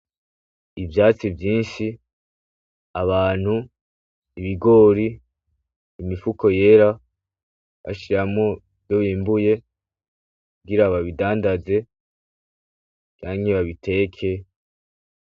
Ivyatsi vyinshi, abantu, ibigori, imifuko yera bashiramwo ivyo yimbuye kugira babidandaze canke babiteke.